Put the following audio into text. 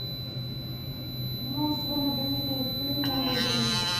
монстры на каникулах три море зовет